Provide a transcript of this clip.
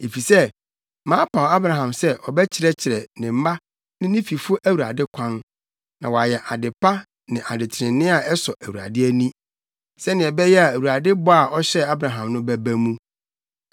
Efisɛ mapaw Abraham sɛ ɔbɛkyerɛkyerɛ ne mma ne ne fifo Awurade kwan. Na wɔayɛ ade pa ne ade trenee a ɛsɔ Awurade ani. Sɛnea ɛbɛyɛ a Awurade bɔ a ɔhyɛɛ Abraham no bɛba mu.”